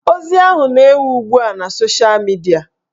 Ozi ahụ na-ewu ugbua na sosha midia